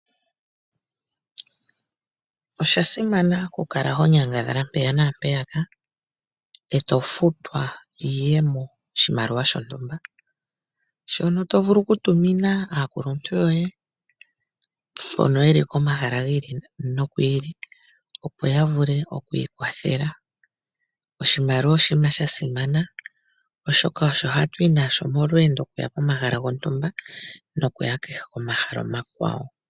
Osha simana okukala ho nyangadhala mpaka naampeyaka e to futwa iiyemo, ano shimaliwa shontumba shoka to vulu okutumina aakuluntu yoye mbono ye li komahala gi ili nogi ili, opo ya vule oku ikwathela. Oshimaliwa oshinima sha simana, oshoka osho hatu yi nasho momalweendo okuya komahala gontumba nokuya kehe komahala omakwawo.